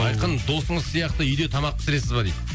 айқын досыңыз сияқты үйде тамақ пісіресіз ба дейді